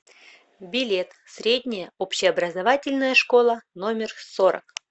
билет средняя общеобразовательная школа номер сорок